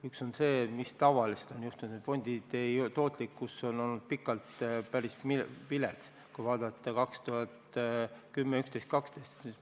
Üks on see, mis tavaliselt on juhtunud, et fondide tootlikkus on olnud pikalt päris vilets – vaadakem aastaid 2010, 2011, 2012.